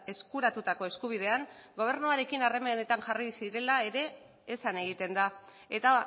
eskuratutako eskubidean gobernuarekin harremanetan jarri zirela ere esan egiten da eta